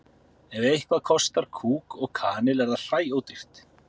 ef eitthvað kostar kúk og kanil er það hræódýrt